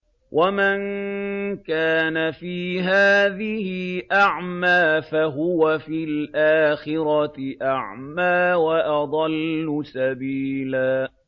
وَمَن كَانَ فِي هَٰذِهِ أَعْمَىٰ فَهُوَ فِي الْآخِرَةِ أَعْمَىٰ وَأَضَلُّ سَبِيلًا